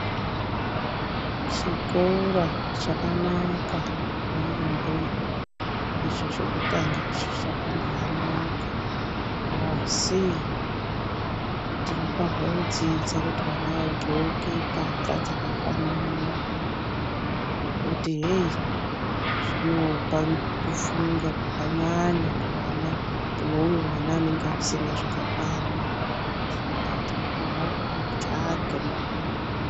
Chikora chakananaka yaamho icho chekutanga icho chakambaa anaka asi tinofahwodzidza kuti vana vadhloke mbahla dzakafanana, ngekuti heyi zvinopa kufunga kwakanyanya kuvana vouyo mwana anenge vasina zvakakwana, saka tofana kutsvaga...